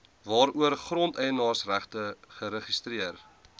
waaroor grondeienaarsregte geregistreer